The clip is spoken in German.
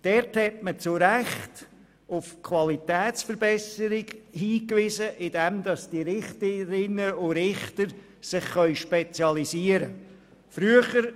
Man hat dort zu Recht auf Qualitätsverbesserungen hingewiesen, indem sich die Richterinnen und Richter spezialisieren konnten.